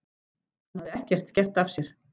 Hann hafði ekkert gert af sér.